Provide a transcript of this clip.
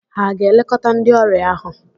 Hà a ga-elekọta ndị ọrịa ahụ?